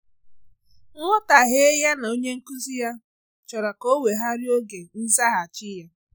Nghọtahie ya na onye nkụzi ya chọrọ ka ọ wegharịa oge nzaghachi ya